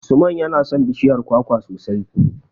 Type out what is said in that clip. Usman yana son bishiyar kwakwa sosai.